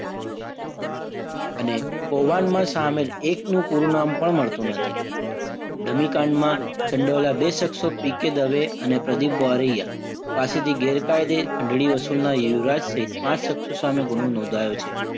અને કૌભાંડમાં સામેલ એકનું પૂરું નામ પણ મળતું નથી. ધમીકાંડમાં સંડવાયેલા બે સક્ષો પી કે દવે અને પ્રદીપ બારૈયા પાસેથી ગેરકાયદે ખંડરી વસૂલના યુવરાજ સિંહે પાંચ સક્ષો સામે ગુનો નોંધાયો છે.